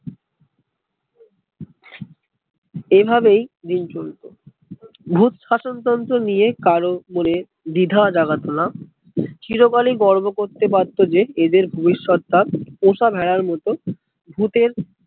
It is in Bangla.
এই ভাবেই দিন চলতো ভুত শাসন তন্ত্র নিয়ে কারো মনে দ্বিধা জাগাতো না চিরকালই গর্ব করতে পারতো যে এদের ভবিষৎ তা পোষা ভেড়ার মতো ভুতের